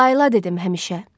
Layla dedim həmişə.